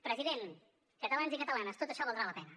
president catalans i catalanes tot això valdrà la pena